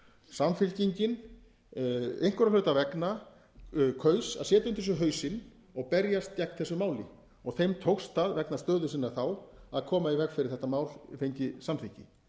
samfylkingin einhverra hluta vegna kaus að setja undir sig hausinn og berjast gegn þessu máli og þeim tókst það vegna stöðu sinnar þá að koma í veg fyrir að þetta mál fengi samþykki